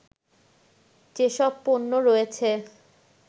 যেসব পণ্য রয়েছে